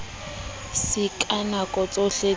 se ka nako tsohle di